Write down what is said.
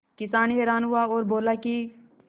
किसान हैरान हुआ और बोला कि